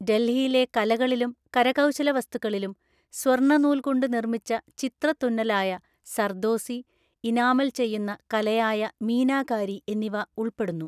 ഡെൽഹിയിലെ കലകളിലും കരകൗശലവസ്തുക്കളിലും സ്വർണ്ണ നൂൽ കൊണ്ട് നിർമ്മിച്ച ചിത്രത്തുന്നലായ സർദോസി, ഇനാമൽ ചെയ്യുന്ന കലയായ മീനാകാരി എന്നിവ ഉള്‍പ്പെടുന്നു.